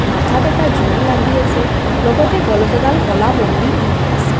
মাথাত এটা জুন লাগি আছে লগতে গলত এডাল ক'লা মন্দি পিন্ধি আছে।